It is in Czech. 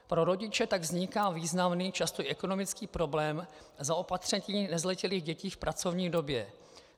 Pro rodiče tak vzniká významný, často ekonomický problém zaopatření nezletilých dětí v pracovní době.